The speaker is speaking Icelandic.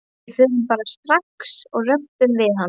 Við förum bara strax og röbbum við hann.